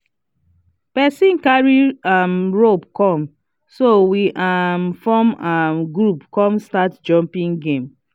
person cary um rope come so we um form um group come start jumping game